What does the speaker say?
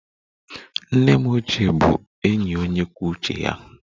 Nne m ochie bụ enyi onye kwuo uche ya